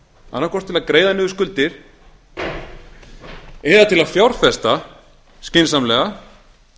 annaðhvort með því að greiða niður skuldir eða til að fjárfesta skynsamlega